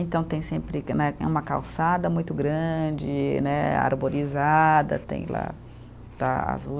Então tem sempre que né, tem uma calçada muito grande né, arborizada, tem lá, tá